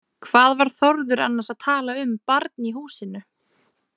Hvað var Þórður annars að tala um barn í húsinu?